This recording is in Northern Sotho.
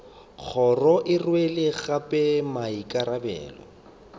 kgoro e rwele gape maikarabelo